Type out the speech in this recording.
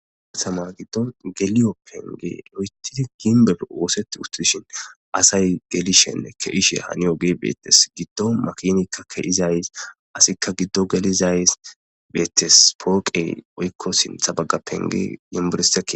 Rahama giddo geliyo penge lo'etidi ginbebe woosetti uttushin asay gelishenne kehishe hani oge beettes giddo makinikka keizays asikka giddo gelizays beettes pooqey oykko sintha baga penge yiburesdae.